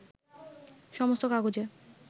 সমস্ত কাগজে